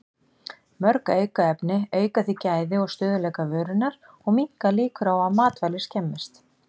Mörg aukefni auka því gæði og stöðugleika vörunnar og minnka líkur á að matvæli skemmist.